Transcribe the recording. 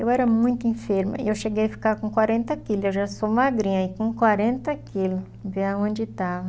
Eu era muito enferma e eu cheguei a ficar com quarenta quilos, eu já sou magrinha, e com quarenta quilos, ver aonde estava.